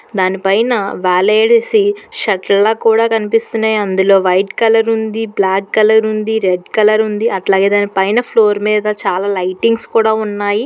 దానిపైన వాలేడిసి షర్ట్ లా కూడా కనిపిస్తున్నాయి అందులో వైట్ కలర్ ఉంది బ్లాక్ కలర్ ఉంది రెడ్ కలర్ ఉంది అట్లాగే దాని పైన ఫ్లోర్ మీద చాలా లైటింగ్స్ కూడా ఉన్నాయి